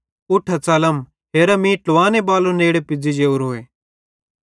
उठा च़लम हेरा मीं ट्लुवानेबालो नेड़े पुज़्ज़ी जोरो